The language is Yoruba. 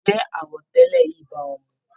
Ǹjẹ́ àwọ̀ tẹlẹ yìí bá o mu?